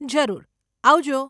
જરૂર, આવજો.